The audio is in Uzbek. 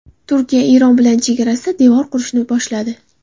Turkiya Eron bilan chegarasida devor qurishni boshladi.